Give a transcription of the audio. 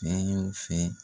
Fɛn yo fɛn